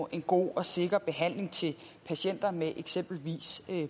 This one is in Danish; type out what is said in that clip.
en god og sikker behandling til patienter med eksempelvis